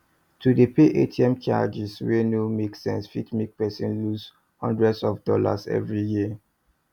to dey pay atm charges wey no make sense fit make person loose hundreds of dollars every year